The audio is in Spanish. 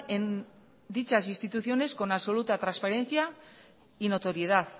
en dichas instituciones con absoluta transparencia y notoriedad